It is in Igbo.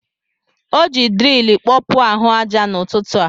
O ji dril kpọpuo ahụ aja n'ụtụtụ a.